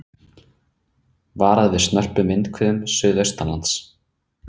Varað við snörpum vindhviðum suðaustanlands